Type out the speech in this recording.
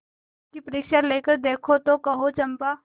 उसकी परीक्षा लेकर देखो तो कहो चंपा